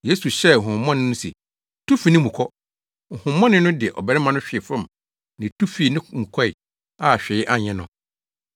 Yesu hyɛɛ honhommɔne no se, “Tu fi ne mu kɔ!” Honhommɔne no de ɔbarima no hwee fam na etu fii ne mu kɔe a hwee anyɛ no.